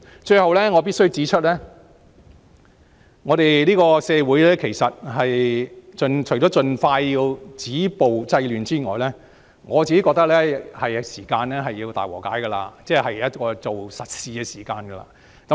最後，我必須指出，社會除了要盡快止暴制亂外，我認為是時候進行大和解，做實事的時候。